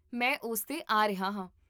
ਮੈਂ ਉਸ 'ਤੇ ਆ ਰਿਹਾ ਹਾਂ